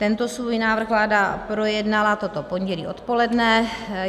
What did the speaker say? Tento svůj návrh vláda projednala toto pondělí odpoledne.